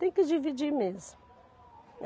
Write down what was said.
Tem que dividir mesmo.